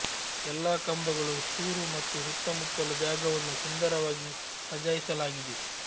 ಎಲ್ಲಾ ಕಂಬಗಳು ಸೂರು ಮತ್ತು ಸುತ್ತಮುತ್ತಲ ಜಾಗವನ್ನು ಸುಂದರವಾಗಿ ಸಜಾಯಿಸಲಾಗಿದೆ